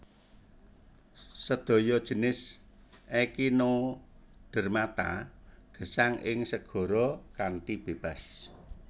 Sedaya jinis Echinodermata gesang ing segara kanthi bebas